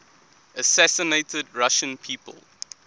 assassinated russian people